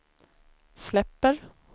släpper